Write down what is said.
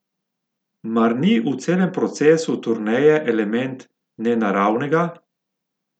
Mar ni v celem procesu turneje element nenaravnega?